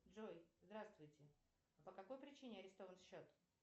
джой здравствуйте а по какой причине арестован счет